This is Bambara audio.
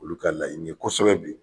Olu ka laɲini ye kosɛbɛ bi